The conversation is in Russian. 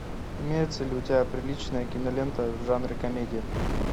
имеется ли у тебя приличная кинолента в жанре комедия